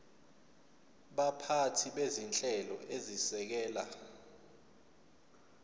baphathi bezinhlelo ezisekela